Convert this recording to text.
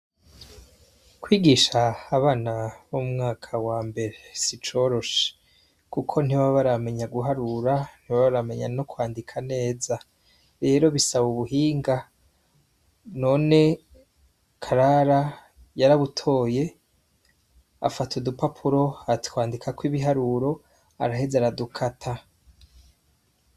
Kwigisha abana b'umwaka wa mbere si icoroshe kuko ntibaba baramenya guharura, ntibaba baramenya no kwandika neza, rero bisaba ubuhinga. None Karara yarabutoye, afata udupapuro atwandikako ibiharuro, araheza aradukata.